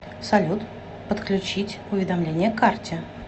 салют подключить уведомление к карте